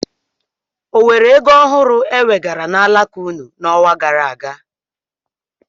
O nwere ego ọhụrụ ewegara n'alaka ụnụ n'ọnwa gara aga?